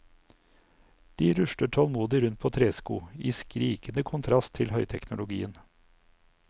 De rusler tålmodig rundt på tresko, i skrikende kontrast til høyteknologien.